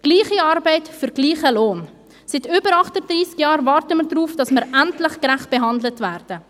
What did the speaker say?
Gleiche Arbeit für gleichen Lohn – seit über 38 Jahren warten wir darauf, dass wir endlich gerecht behandelt werden!